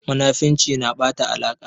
Munafurci na ɓata alaƙa.